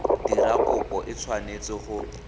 dira kopo e tshwanetse go